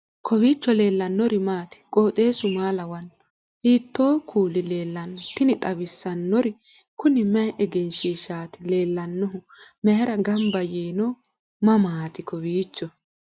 kowiicho leellannori maati ? qooxeessu maa lawaanno ? hiitoo kuuli leellanno ? tini xawissannori kuni mayi egenshshiihishshaati lellannohu mayra gamba yiino mammaati kowiicho